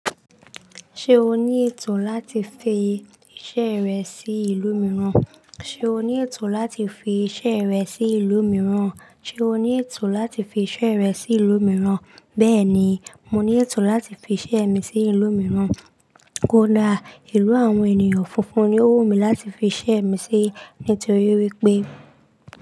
Ṣé o ní ètò láti fi iṣẹ́ rẹ sí ìlú mìíràn? Ṣé o ní ètò láti fi iṣẹ́ rẹ sí ìlú mìíràn? Bẹ́ẹ̀ni, mo ní ètò láti fi iṣẹ́ mi sí ìlú mìíràn. Kódà, ìlú àwọn ènìyàn funfun ni ó wù mí láti fi iṣẹ́ mi sí nítorí wípé.